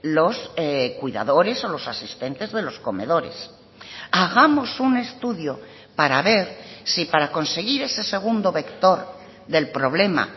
los cuidadores o los asistentes de los comedores hagamos un estudio para ver si para conseguir ese segundo vector del problema